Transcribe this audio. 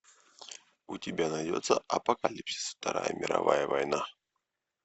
у тебя найдется апокалипсис вторая мировая война